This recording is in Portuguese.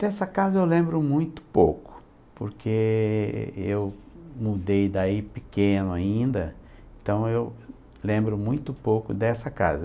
Dessa casa eu lembro muito pouco, porque eu mudei daí pequeno ainda, então eu lembro muito pouco dessa casa.